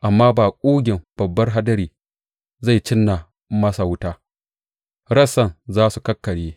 Amma da ƙugin babbar hadari zai cinna masa wuta, rassansa za su kakkarye.